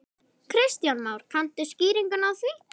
Kristján Már: Kanntu skýringu á því?